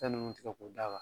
Fɛn ninnu ti fɛ k'o d'a